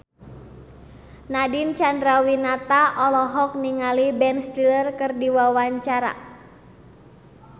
Nadine Chandrawinata olohok ningali Ben Stiller keur diwawancara